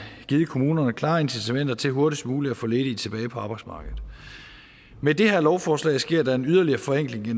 givet kommunerne klare incitamenter til hurtigst muligt at få ledige tilbage på arbejdsmarkedet med det her lovforslag sker der en yderligere forenkling i